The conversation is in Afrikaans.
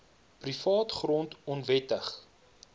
privaat grond onwettig